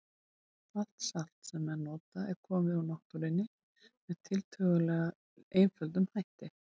Allt salt sem menn nota er komið frá náttúrunni með tiltölulega einföldum hætti.